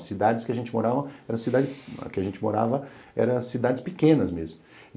As cidades que a gente morava eram cidades que a gente morava eram pequenas mesmo.